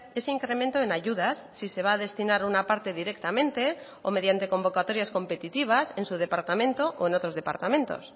ese incremento en ayudas si se va a destinar una parte directamente o mediante convocatorias competitivas en su departamento o en otros departamentos